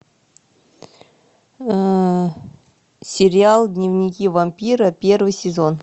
сериал дневники вампира первый сезон